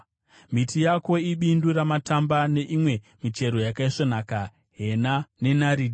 Miti yako ibindu ramatamba nemimwe michero yakaisvonaka, hena nenaridhi,